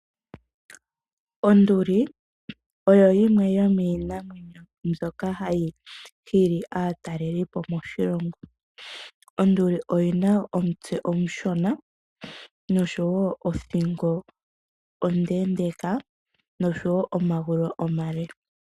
Onduli oyo yimwe yomiinamwenyo ndjoka hayi hili aataleli okuza kiilonga yayoloka. Onduli oyina omutse omushona nosho woo othingo nomagulu omaleleka.